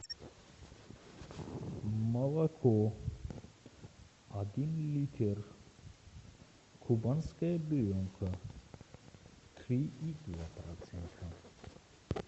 молоко один литр кубанская буренка три и два процента